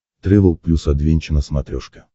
трэвел плюс адвенча на смотрешке